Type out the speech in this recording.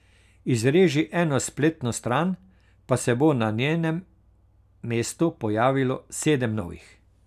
Izreži eno spletno stran, pa se bo na njenem mestu pojavilo sedem novih.